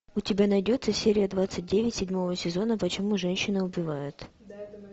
у тебя найдется серия двадцать девять седьмого сезона почему женщины убивают